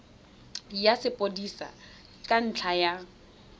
ya sepodisi ka ntlha ya